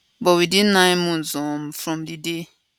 but within nine months um from di day